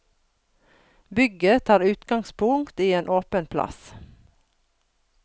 Bygget tar utgangspunkt i en åpen plass.